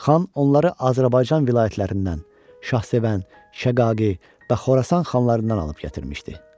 Xan onları Azərbaycan vilayətlərindən, Şahsevən, Şəqaqi və Xorasan xanlarından alıb gətirmişdi.